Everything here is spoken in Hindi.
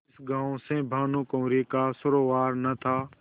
जिस गॉँव से भानुकुँवरि का सरोवार न था